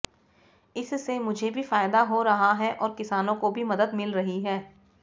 इससे मुझे भी फायदा हो रहा है और किसानों को भी मदद मिल रही है